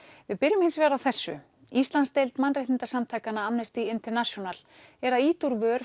við byrjum hins vegar á þessu Íslandsdeild mannréttindasamtakanna Amnesty International er að ýta úr vör